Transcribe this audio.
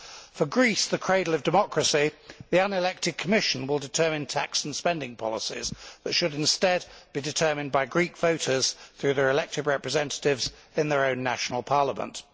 For Greece, the cradle of democracy, the unelected Commission will determine tax and spending policies that should instead be determined by Greek voters through their elected representatives in their own national parliament.